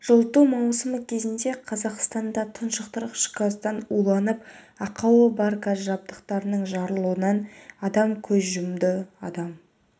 жылыту маусымы кезінде қазақстанда тұншықтырғыш газдан уланып ақауы бар газ жабдықтарының жарылуынан адам көз жұмды адам